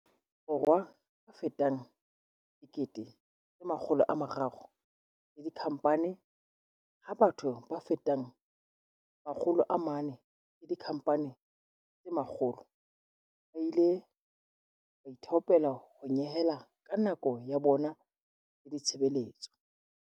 Borwa a fetang 300 000 le dikhampani, ha batho ba fetang 400 le dikhampani tse 100 ba ile ba ithaopela ho nyehela ka nako ya bona le ditshebeletso.